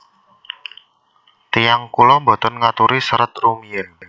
Tiyang kula boten ngaturi serat rumiyin